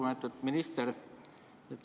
Lugupeetud minister!